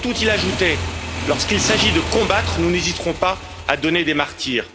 Le 30 août, il ajoutait lorsqu'il s'agit de combattre, nous n'hésiterons pas à donner des martyrs.